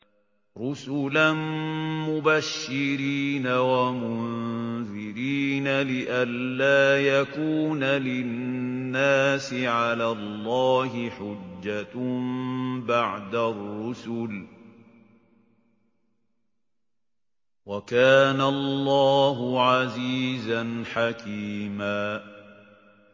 رُّسُلًا مُّبَشِّرِينَ وَمُنذِرِينَ لِئَلَّا يَكُونَ لِلنَّاسِ عَلَى اللَّهِ حُجَّةٌ بَعْدَ الرُّسُلِ ۚ وَكَانَ اللَّهُ عَزِيزًا حَكِيمًا